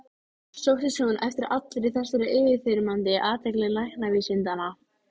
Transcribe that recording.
Sóttist hún eftir allri þessari yfirþyrmandi athygli læknavísindanna?